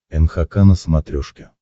нхк на смотрешке